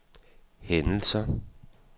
hændelser